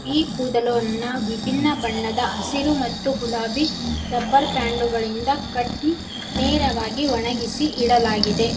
ಈ ಕೂದಲುವನ್ನ ವಿಭಿನ್ನ ಬಣ್ಣದ ಹಸಿರು ಮತ್ತು ಗುಲಾಬಿ ರಬ್ಬರ್ ಬ್ಯಾಂಡು ಗಳಿಂದ ಕಟ್ಟಿ ನೇರವಾಗಿ ಒಣಗಿಸಿ ಇಡಲಾಗಿದೆ.